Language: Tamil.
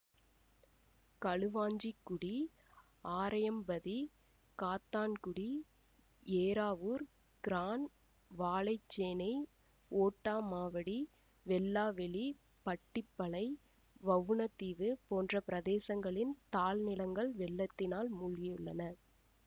களுவாஞ்சிக்குடி ஆரையம்பதி காத்தான்குடி ஏறாவூர் கிரான் வாழைச்சேனை ஓட்டமாவடி வெல்லாவெளி பட்டிப்பளை வவுணதீவு போன்ற பிரதேசங்களின் தாழ் நிலங்கள் வெள்ளத்தினால் மூழ்கியுள்ளன